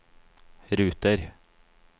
ruter